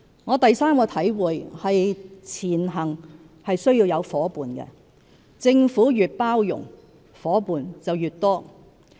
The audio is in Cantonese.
我第三個體會是"前行"需要有夥伴，政府越包容，夥伴便越多。